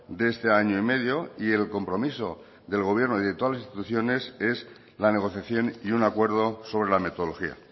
de este año y medio y el compromiso del gobierno y de todas las instituciones es la negociación y un acuerdo sobre la metodología